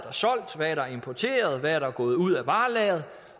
er solgt hvad der er importeret og hvad der er gået ud af varelageret